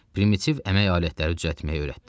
Primitiv əmək alətləri düzəltməyi öyrətdi.